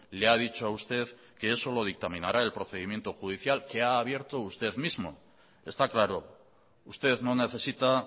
le ha dicho a usted que eso lo dictaminará el procedimiento judicial que ha abierto usted mismo está claro usted no necesita